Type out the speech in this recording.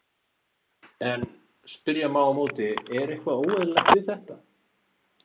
En spyrja má á móti, er eitthvað óeðlilegt við þetta?